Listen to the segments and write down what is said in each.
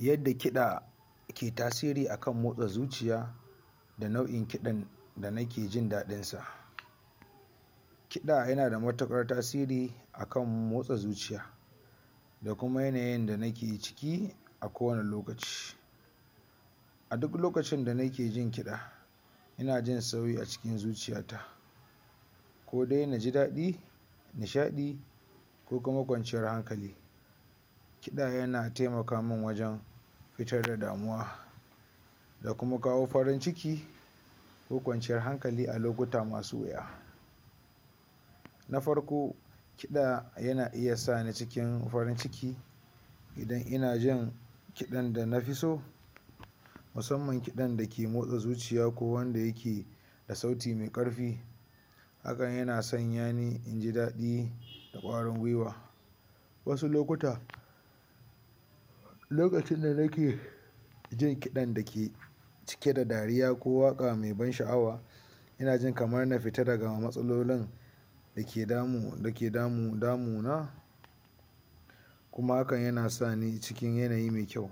Yadda kiɗa ke tasiri a kan motsa zuciya da nau'in kiɗan da nike jin daɗinsa kiɗa yana da matuƙar tasiri a kan motsa zuciya da kuma yanayin da nike ciki a kowane lokaci a duk lokacin da nike jin kiɗa ina jin sauyi a cikin zuciyata ko dai na ji daɗin nishaɗi ko kuma kwanciyar hankali. Kiɗa yana taimaka man wajen fitar da damuwa da kuma kawo farin ciki na farko kiɗa yana iya sani cikin farin ciki idan ina jin kiɗan da nike so musamman kiɗan da ke motsa zuciya ko wanda yake da sauti mai ƙarfi hakan yana sanya ni inji daɗi da ƙarfin guiwa wasu lokutan lokacin da nike jin kiɗan da ke cike da dariya ko waƙa mai ban sha'awa ina jin kamar na fita daga matsalolin da ke damuna kuma hakan yana sani cikin yanayi mai kyau,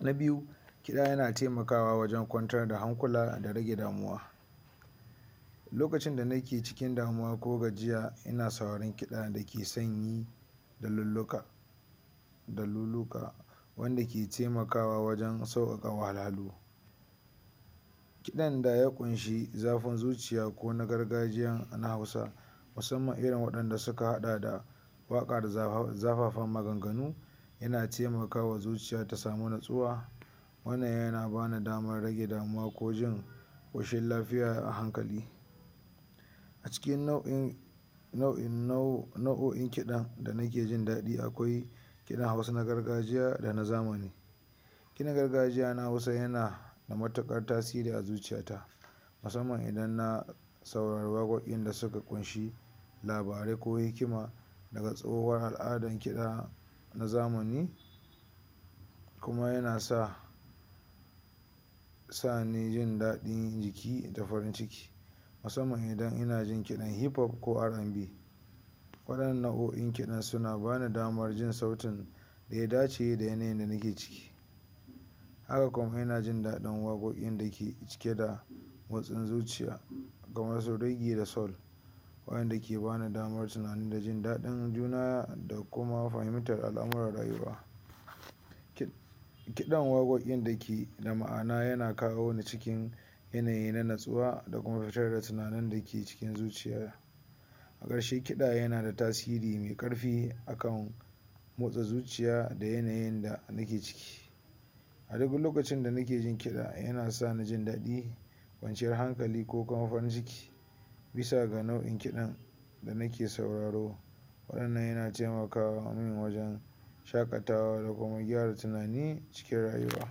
na biyu kiɗa yana taimakawa wajen kwantar da hankula da rage damuwa lokacin da nike cikin damuwa ko gajiya ina sauraren kiɗa dake san yi iluluka daliluka wanda ke taimakawa wajen sauƙaƙe wahalhalu kiɗan da ya ƙunshi zafin zuciya ko na gargajiya na Hausa musamman irin wanda suka haɗa da waƙaƙan zafafan maganganu yana taimakawa zuciya ta samu nutsuwa wannan yana ba ni damar rage damuwa ko jin ƙoshin lafiya a hanlali a cikin nau'in nau'o'in kiɗa da nike jin daɗi akwai kiɗan Hausa na gargajiya da kuma na zamani kiɗan gargajiya na Hausa yana da matuƙar tasiri a zuciyata musamman idan na saurari waƙoƙi da suka ƙunshi labarai ku hikima daga tsohuwar al'adar kiɗa na zamani kuma yana sa sa ni jin daɗin jiki da farin ciki musamman idan ina jin kliɗan hip pop ko RnB Waɗannan nau'o'in kiɗan suna bani damar jin sautin da ya dace da yanayin da nike ciki haka kuma ina jin daɗin waƙoƙin da ke cike da motsin zuciya kamar su Reggie da Soul wa'in da ke ba ni damar tunani da jin daɗin zuciya da kuma fahimtar al'amuran rayuwa kiɗan waƙoƙin da ke da ma'ana yana kawo ni cikin yanayi na nutsuwa da kuma fitar da tunanin da ke cikin zuciya a ƙarshe kiɗa yana da tasiri mai ƙarfi a kan motsa zuciya a yanayin da nike ciki a duk lokacin da nike jin kiɗa yana sani jin daɗi kwanciyar hankali ko kuma farin ciki bi sa ga nau'in kiɗan da nike sauraro waɗannan yana taimaka min wajen shaƙatawa da kuma gyara tunani wajen rayuwa.